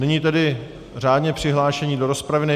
Nyní tedy řádně přihlášení do rozpravy.